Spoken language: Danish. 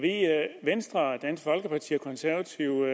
venstre dansk folkeparti og konservative